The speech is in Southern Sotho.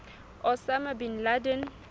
osama bin laden